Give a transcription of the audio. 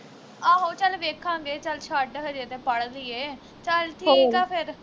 ਆਹੋ ਚੱਲ ਵੇਖਾਂਗੇ ਚੱਲ ਛੱਡ ਹਜੇ ਤੇ ਪੜ ਲਈਏ ਚੱਲ ਠੀਕ ਆ ਫਿਰ